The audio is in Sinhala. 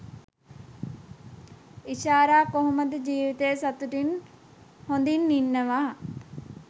ඉෂාරා කොහොමද ජීවිතේ සතුටින් හොඳින් ඉන්නවා